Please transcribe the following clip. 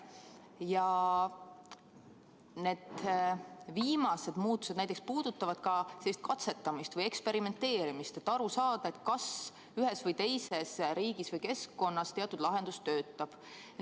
Ja need viimased muutused näiteks puudutavad ka katsetamist või eksperimenteerimist, et aru saada, kas ühes või teises riigis või keskkonnas teatud lahendus töötab.